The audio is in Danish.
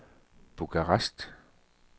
Bukarest